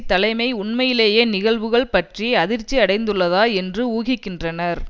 தலைமை உண்மையிலேயே நிகழ்வுகள் பற்றி அதிர்ச்சி அடைந்துள்ளதா என்று ஊகிக்கின்றனர்